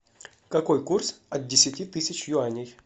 какой курс от десяти тысяч юаней